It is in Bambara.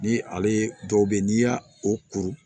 Ni ale dɔw bɛ yen n'i y'a o kuru